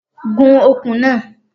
Gun okùn náà!